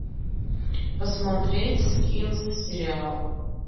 посмотреть скинс сериал